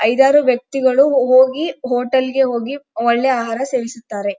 ಐದಾರು ವ್ಯಕ್ತಿಗಳು ಹೋಗಿ ಹೋಟೆಲ್ಗೆ ಹೋಗಿ ಒಳ್ಳೆ ಆಹಾರ ಸೇವಿಸುತ್ತಾರೆ.